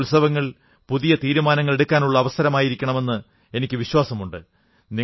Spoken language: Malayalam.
ഈ ഉത്സവങ്ങൾ പുതിയ തീരുമാനങ്ങളെടുക്കാനുള്ള അവസരമായിരിക്കുമെന്ന് എനിക്കു വിശ്വാസമുണ്ട്